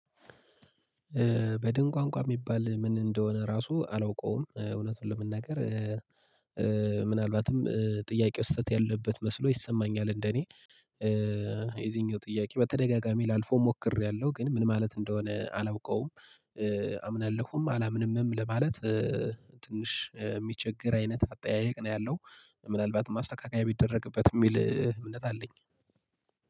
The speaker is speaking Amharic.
በድን ቋንቋ የሚባል ምን እንደሆነ ራሱ አላውቀውም እውነቱን ለመናገር። ምናልባትም ጥያቄው ስህተት ያለበት መስሎ ይሰማኛል እንደኔ። የዚህኛው ጥያቄ በተደጋጋሚ ላልፈው ሞክሬያለሁ ግን ምን ማለት እንደሆነ አላውቀውም። አምናለሁም አላምንምም ለማለት ትንሽ የሚቸግር አይነት አጠያየቅ ነው ያለው። ምናልባት ማስተካከያ ቢደረግበት የሚል እምነት አለኝ።